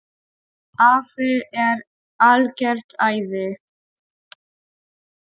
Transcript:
Afi er algert æði.